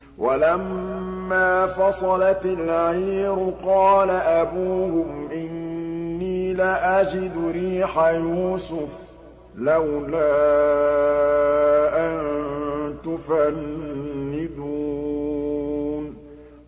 وَلَمَّا فَصَلَتِ الْعِيرُ قَالَ أَبُوهُمْ إِنِّي لَأَجِدُ رِيحَ يُوسُفَ ۖ لَوْلَا أَن تُفَنِّدُونِ